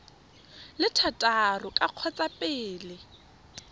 le thataro ka kgotsa pele